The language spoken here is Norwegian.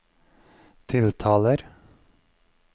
tiltaler